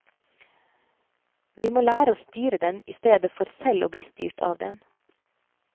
Vi må lære å styre den, i stedet for selv å bli styrt av den.